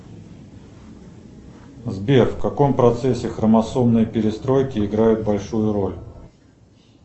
сбер в каком процессе хромосомной перестройки играют большую роль